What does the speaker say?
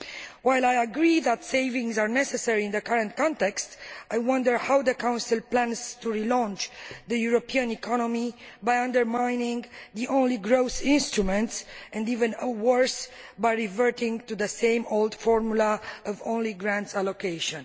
While I agree that savings are necessary in the current context, I wonder how the Council plans to relaunch the European economy by undermining its only growth instruments and, even worse, by reverting to the same old formula of grant only allocation.